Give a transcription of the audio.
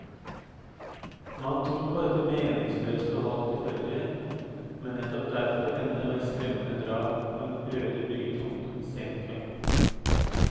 Man tror på dette meningsløse og halvt tilfeldige, men nettopp derfor enda mer skremmende drap på en øde byggetomt en sen kveld.